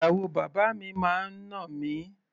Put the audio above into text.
Ìyàwó bàbá mi máa ń nà mí.